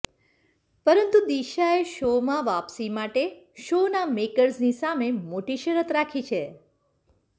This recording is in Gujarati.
પરંતુ દિશાએ શોમાં વાપસી માટે શોના મેકર્સની સામે મોટી શરત રાખી છે